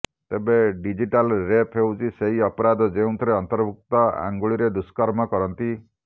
ତେବେ digital rape ହେଉଛି ସେହି ଅପରାଧ ଯେଉଁଥିରେ ଅଭିଯୁକ୍ତ ଅଙ୍ଗୁଳିରେ ଦୁଷ୍କର୍ମ କରନ୍ତି